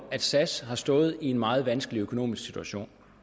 sas har stået i en meget vanskelig økonomisk situation